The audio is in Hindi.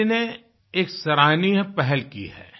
CBSE ने एक सराहनीय पहल की है